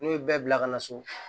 N'u ye bɛɛ bila ka na so